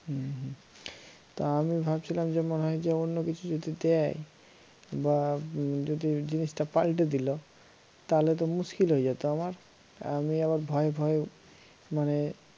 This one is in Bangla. হম হম তো আমি ভাবছিলাম যে মনে হই যে অন্য কিছু যদি দেয় বা যদি জিনিস টা পাল্টে দিল, তালে তো মুশকিল হয়ে যেত আমার আমি আবার ভয়ে ভয়ে মানে